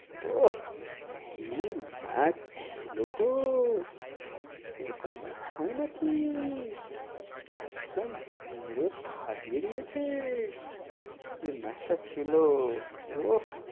ওহ, কী match ছিল গো! এরকম match হয় নাকি! একদম মেরে ফাটিয়ে দিয়েছে! যে match টা ছিল ওহ!